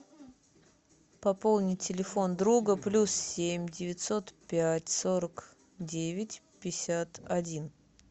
пополнить телефон друга плюс семь девятьсот пять сорок девять пятьдесят один